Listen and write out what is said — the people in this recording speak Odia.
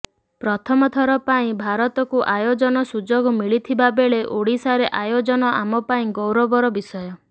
ପ୍ରଥମଥର ପାଇଁ ଭାରତକୁ ଆୟୋଜନ ସୁଯୋଗ ମିଳିଥିବାବେଳେ ଓଡ଼ିଶାରେ ଆୟୋଜନ ଆମ ପାଇଁ ଗୌରବର ବିଷୟ